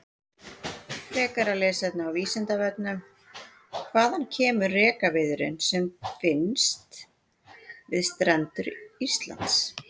Frekara lesefni á Vísindavefnum: Hvaðan kemur rekaviðurinn sem finnst við strendur Íslands?